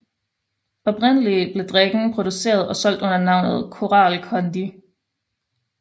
Oprindeligt blev drikken produceret og solgt under navnet Koral Kondi